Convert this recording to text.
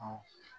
Ɔ